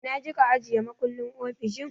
Ina kika ajiye makullin ofishin?